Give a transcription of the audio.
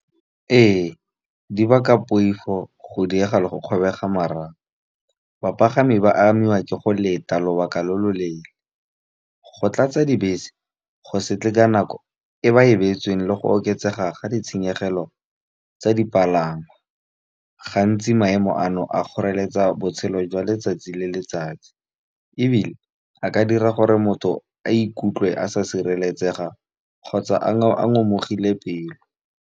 Ee, di baka poifo go diega le go kgobega marapo. Bapagami ba amiwa ke go leta lobaka lo lo leele, go tlatsa dibese go se tle ka nako e ba e beetsweng le go oketsega ga ditshenyegelo tsa dipalangwa. Gantsi maemo a no a kgoreletsa botshelo jwa letsatsi le letsatsi, ebile a ka dira gore motho a ikutlwe a sa sireletsega kgotsa a ngomogile pelo.